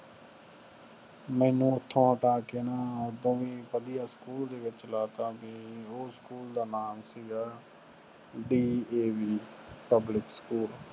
ਮੈਨੂੰ ਉਠੁ ਹਟਾ ਕ ਨਾ ਹੋਰ ਵੱਡੀਆਂ ਸਕੂਲ ਵਿਚ ਲੈ ਦਿੱਤਾ ਸੀ ਜਿੱਡਾ ਨਾਮ ਸੀ Gaya D A V public school